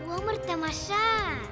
өмір тамаша